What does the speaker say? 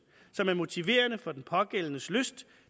som er motiverende for den pågældendes lyst